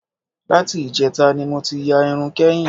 Láti ìjẹta ni mo ti ya irun kẹ́yìn